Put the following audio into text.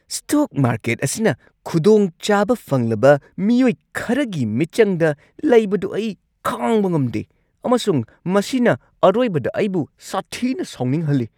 Stock market ꯑꯁꯤꯅ ꯈꯨꯗꯣꯡꯆꯥꯕ ꯐꯪꯂꯕ ꯃꯤꯑꯣꯏ ꯈꯔꯒꯤ ꯃꯤꯆꯪꯗ ꯂꯩꯕꯗꯨ ꯑꯩ ꯈꯥꯡꯕ ꯉꯝꯗꯦ ꯑꯃꯁꯨꯡ ꯃꯁꯤꯅ ꯑꯔꯣꯏꯕꯗ ꯑꯩꯕꯨ ꯁꯥꯊꯤꯅ ꯁꯥꯎꯅꯤꯡꯍꯜꯂꯤ꯫